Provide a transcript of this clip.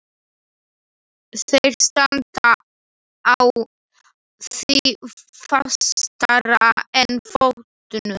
Þeir standa á því fastara en fótunum.